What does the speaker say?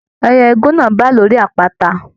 Ẹyẹ igún náà bá lórí àpáta.